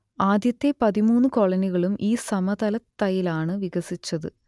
ആദ്യത്തെ പതിമൂന്നു കോളനികളും ഈ സമതലത്തൈലാണ് വികസിച്ചത്